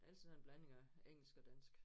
Ellers er det en blanding af engelsk og dansk